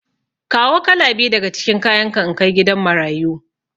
Kawo kala biyu daga cikin kayanka in kai gidan marayu.